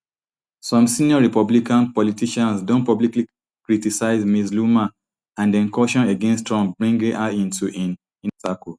some senior republican politicians don publicly criticised ms loomer and dem caution against trump bringing her into im inner circle